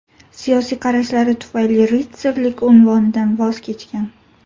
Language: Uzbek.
Siyosiy qarashlari tufayli ritsarlik unvonidan voz kechgan.